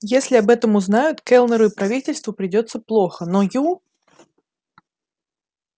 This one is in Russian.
если об этом узнают кэллнеру и правительству придётся плохо но ю